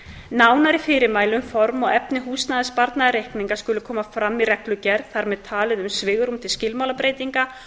nánari fyrirmæli um form og efni húsnæðissparnaðarreikninga skulu koma fram í reglugerð þar með talin um svigrúm til skilmálabreytinga